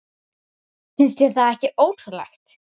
Finnst þér það ekki ótrúlegt?